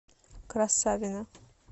красавино